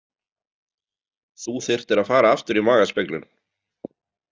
Þú þyrftir að fara aftur í magaspeglun.